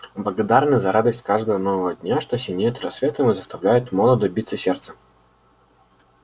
благодарны за радость каждого нового дня что синеет рассветом и заставляет молодо биться сердце